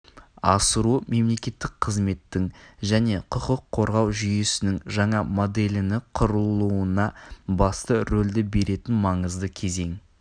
асыру мемлекеттік қызметтің және құқық қорғау жүйесінің жаңа моделіні құрылуына басты ролді беретін маңызды кезең